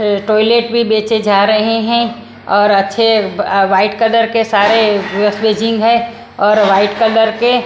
ऐ toilet भी बेचे जा रहे हैं और अच्छे व्हाइट कलर के सारे है और वाइट कलर के--